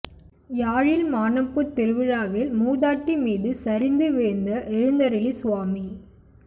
யாழில் மானம்பூ திருவிழாவில் மூதாட்டி மீது சரிந்து வீழ்ந்த எழுந்தருளி சுவாமி